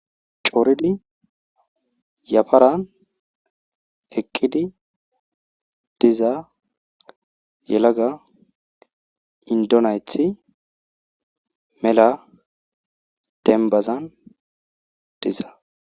Coridi yafaran eqqidi diza yelaga inddo nayti mela dembazan diza.